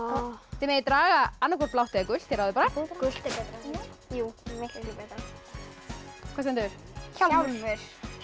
þið megið draga blátt eða gult þið ráðið bara gult er betra jú miklu frekar hvað stendur hjálmur